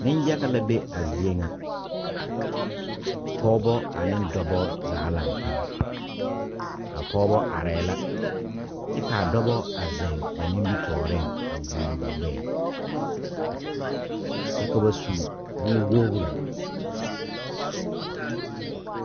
Ninyaga la be a zeɛ nga pɔgba ane dɔba zaa langtaa a pɔgba arẽ la kye ka a dɔba a zeng ba nimitoɔring a guoli ba gbeɛɛ kye ka ba su wo woree.